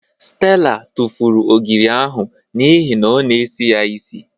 Stella tụfụrụ ogiri ahụ n'ihi na ọ na-esi ya isi.